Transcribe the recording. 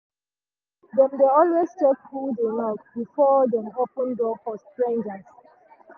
dem dey always check who dey knock before dem open door for stranger.